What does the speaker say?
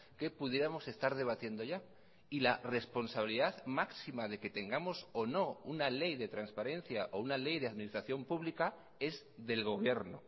que pudiéramos estar debatiendo ya y la responsabilidad máxima de que tengamos o no una ley de transparencia o una ley de administración pública es del gobierno